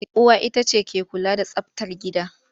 Uwa ita ce take kula da tsabtar gida.